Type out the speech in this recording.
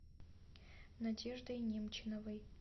надеждой немчиновой